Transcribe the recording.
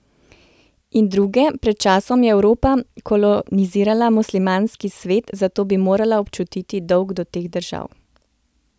In druge: 'Pred časom je Evropa kolonizirala muslimanski svet, zato bi morala občutiti dolg do teh držav.